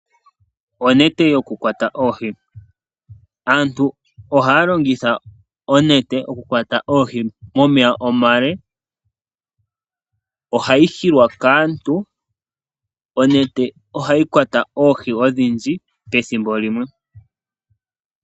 Onete yokukwata oohi. Aantu ohaya longitha oonete okukwata oohi momeya omale. Onete hayi hilwa kaantu. Onete ohayi kwata oohi odhindji pethimbo limwe.